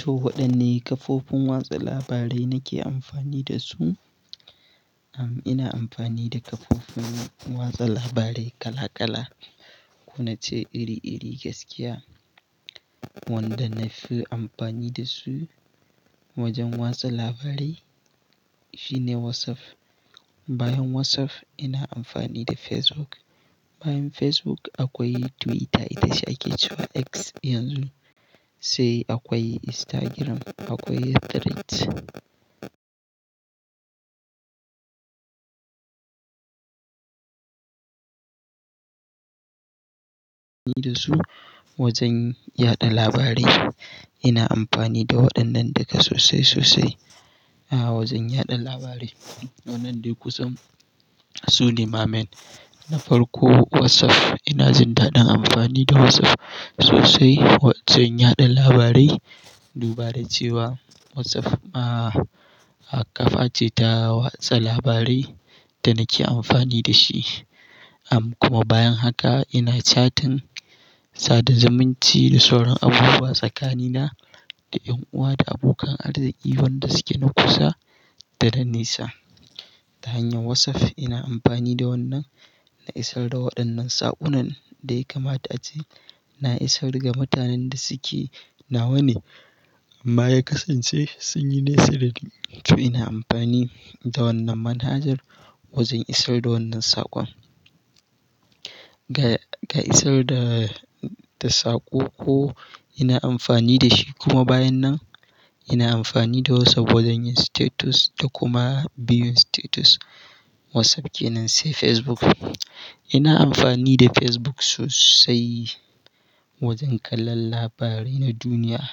To waɗanne kafofin watsa labarai nake amfani da su? Ina amfani da kafofin watsa labarai kala kala. Ko na ce iri iri gaskiya. Wanda nafi amfani da su wajen watsa labarai shine WhatsApp. Bayan WhatsApp ina amfani da Facebook. Bayan Facebook akwai Twitter da shi ake cewa X yanzu. Sai akwai Instagram, akwai Threads. Da su wajen yaɗa labarai. Ina amfani da waɗannan daga sosai sosai a wajen yaɗa labarai. Waɗannan dai kusan su ne main. Na farko WhatsApp ina jin daɗin amfani da WhatsApp sosai wajen yaɗa labarai. Dubara cewa WhatsApp, ƙafa ce ta watsa labarai da nake amfani da shi. Kuma bayan haka ina chatting, sadar zamanci da sauran abubuwa tsakanina da 'yan uwa da abokan arziki wanda suke na kusa da na nisa. Ta hanyar WhatsApp ina amfani da wannan na isar da waɗannan saƙunan da ya kamata ace. Na isar daga mutanen da suke nawa ne. Amma ya kasance sun yi nesari. To ina amfani da wannan manhajar wajen isar da wannan saƙon. Ga, ga isar da, da saƙo ko ina amfani da shi kuma bayan nan ina amfani da WhatsApp wajen yin status da kuma biyun status. WhatsApp kenan sai Facebook. Ina amfani da Facebook sosai wajen kallon labarai na duniya.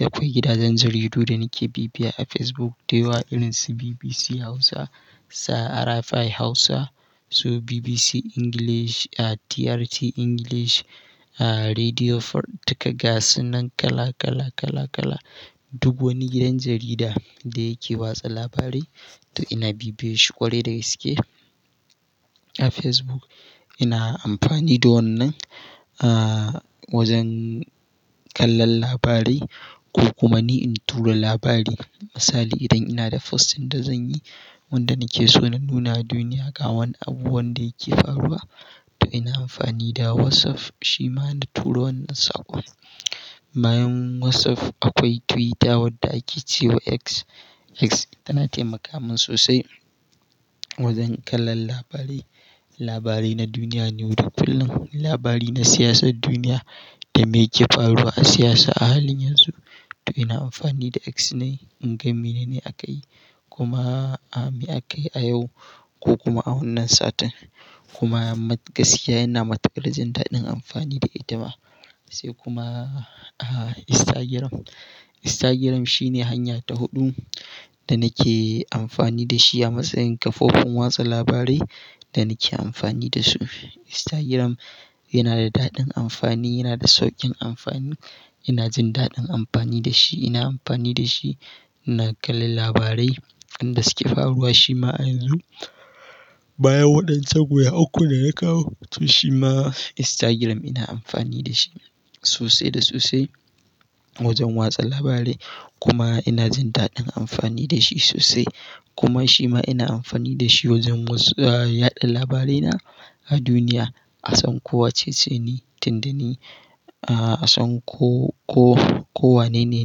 Akwai gidajen jaridu da nake bibiya a Facebook dai wa irin su BBC Hausa, Sa'a Rfi Hausa, so BBC English, aah, TRT English, Radio Free daga suna kala kala kala kala. Duk wani gidan jarida da yake watsa labarai to ina bibiye shi ƙwarai daga iske a Facebook. Ina amfani da wannan, wajen kallon labarai ko kuma ni in tura labari. Misali idan ina da posting da zan yi wanda nake so na nuna duniya ga wani abu wanda yake faruwa to ina amfani da WhatsApp shi ma na tura wannan saƙon. Bayan WhatsApp akwai Twitter wanda ake cewa X. X tana taimaka min sosai wajen kallon labarai, labarai na duniya ne wuri fillon labari na siyasar duniya da me yake faruwa a siyasa a halin yanzu. To ina amfani da X ne in ga mene ne akayi kuma, aah, me akayi a yau ko kuma a wannan satin. Kuma gaskiya yana mataqarsin da ɗin amfani da ita ma. Sai kuma, Instagram. Instagram shine hanya ta huɗu da nake amfani da shi a matsayin kafofin watsa labarai da nake amfani da su. Instagram yana da daɗin amfani, yana da sauƙin amfani. Ina jin daɗin amfani da shi. Ina amfani da shi na kalla labarai inda suke faruwa shima a yanzu. Bayan waɗannan kuwa uku da na kawo to shi ma Instagram ina amfani da shi sosai da sosai wajen watsa labarai kuma ina jin daɗin amfani da shi sosai. Kuma shi ma ina amfani da shi wajen was, aah, yaɗa labarai na a duniya. Hasan ko wacce ce ne, tinda ne, hasan ko, ko, ko wanene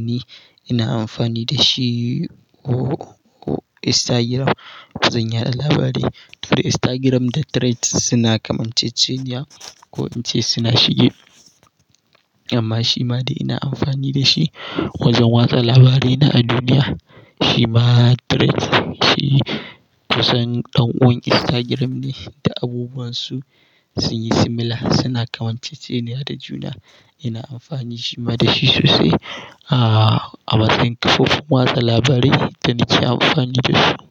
ne ina amfani da shi ko, ko Instagram don yaɗa labarai. To dai Instagram da Threads suna kamar cececiya ko in ce suna shige. Amma shi ma dai ina amfani da shi wajen watsa labarai na a duniya. Shi ma Threads shi kusan ɗan'uwan Instagram ne da abubuwan su sun yi similar, suna kamar cececiya da juna. Ina amfani shi ma da shi sosai, aah, a matsayin kafofin watsa labarai da nake amfani da su.